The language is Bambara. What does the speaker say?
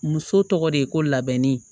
Muso tɔgɔ de ye ko labɛnnen ye